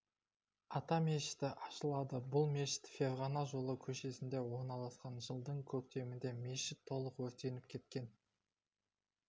ата мешіті ашылады бұл мешіт ферғана жолы көшесінде орналасқан жылдың көктемінде мешіт толық өртеніп кеткен